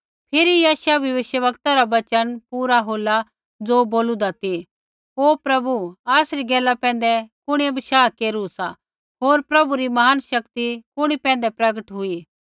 फिरी यशायाह भविष्यवक्ता रा वचन पूरा होला ज़ो बोलूदा ती ओ प्रभु आसरी गैला पैंधै कुणिऐ बशाह केरू सा होर प्रभु री महान शक्ति कुणी पैंधै प्रगट हुई